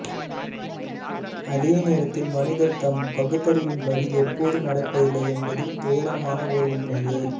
அதே நேரத்தில் மனிதர் தம் பகுத்தறிவின்படி எப்போதும் நடப்பதில்லை என்பது துயரமான ஓர் உண்மையே